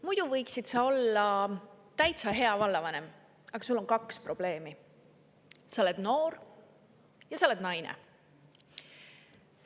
"Muidu sa võiksid olla täitsa hea vallavanem, aga sul on kaks probleemi: sa oled noor ja sa oled naine.